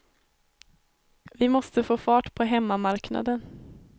Vi måste få fart på hemmamarknaden.